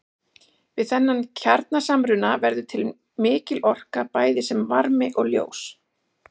Við þennan kjarnasamruna verður til mikil orka bæði sem varmi og ljós.